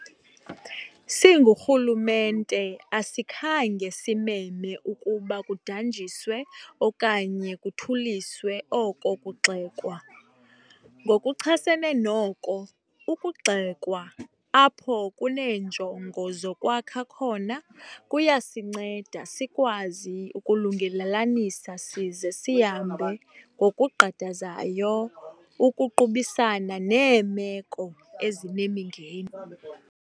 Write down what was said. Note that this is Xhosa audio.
Singurhulumente asikhange simeme ukuba kudanjiswe okanye kuthuliswe oko kugxekwa. Ngokuchasene noko, ukugxekwa, apho kuneenjongo zokwakha khona, kuyasinceda sikwazi ukulungelelanisa size sihambe ngokugqadazayo ukuqubisana neemeko ezinemingeni.